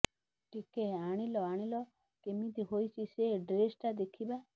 ଟିକେ ଆଣିଲ ଆଣିଲ କେମିତି ହୋଇଛି ସେ ଡ୍ରେସ୍ଟା ଦେଖିବା